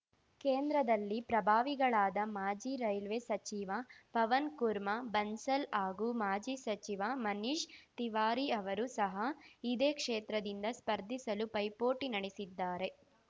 ಕೇಂದ್ರದಲ್ಲಿ ಪ್ರಭಾವಿಗಳಾದ ಮಾಜಿ ರೈಲ್ವೆ ಸಚಿವ ಪವನ್‌ ಕುರ್ಮಾ ಬನ್ಸಲ್‌ ಹಾಗೂ ಮಾಜಿ ಸಚಿವ ಮನೀಶ್‌ ತಿವಾರಿ ಅವರು ಸಹ ಇದೇ ಕ್ಷೇತ್ರದಿಂದ ಸ್ಪರ್ಧಿಸಲು ಪೈಪೋಟಿ ನಡೆಸಿದ್ದಾರೆ